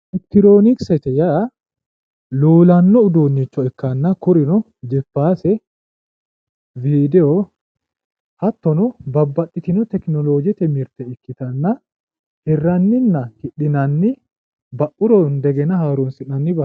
Elekitiroonikisete yaa luulanno uduunnicho ikkanna kurino jipaase wiidiwo hattono babbaxxitino tekinoloojete mirte ikkitanna hirranninna hidhinanni ba'uro indegena haroonsi'nanni